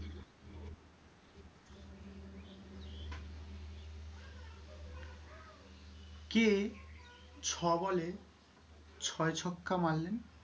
কে ছয় বলে ছয় ছক্কা মারলেন?